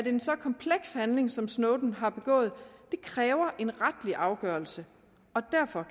en så kompleks handling som snowden har begået kræver en retslig afgørelse